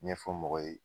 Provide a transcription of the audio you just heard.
Ɲɛfɔ mɔgɔw ye